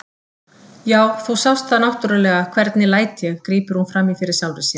Já, þú sást það náttúrlega, hvernig læt ég, grípur hún fram í fyrir sjálfri sér.